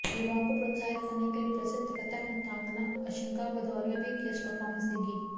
युवाओं को प्रोत्साहित करने के लिए प्रसिद्ध कत्थक नृत्यांगना अंशिका भदौरिया भी गेस्ट परफार्मेंस देंगी